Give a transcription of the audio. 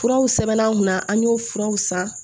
Furaw sɛbɛn an kunna an y'o furaw san